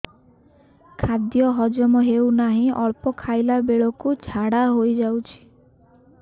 ଖାଦ୍ୟ ହଜମ ହେଉ ନାହିଁ ଅଳ୍ପ ଖାଇଲା ବେଳକୁ ଝାଡ଼ା ହୋଇଯାଉଛି